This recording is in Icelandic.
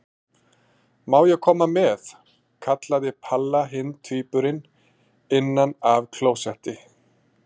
Má ég koma með? kallaði Palla hinn tvíburinn innan af klósetti.